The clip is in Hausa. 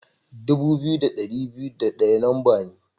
Dubu biyu da dari biyu da daya lamba ne.